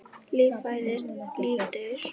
Líf fæðist, líf deyr.